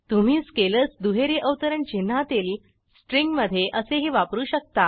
तुम्ही स्केलर्स दुहेरी अवतरण चिन्हातील स्ट्रिंगमधे असेही वापरू शकता